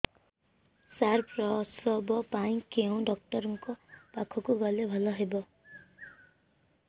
ସାର ପ୍ରସବ ପାଇଁ କେଉଁ ଡକ୍ଟର ଙ୍କ ପାଖକୁ ଗଲେ ଭଲ ହେବ